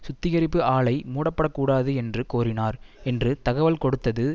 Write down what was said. சுத்திகரிப்பு ஆலை மூடப்படக்கூடாது என்று கோரினார் என்று தகவல் கொடுத்தது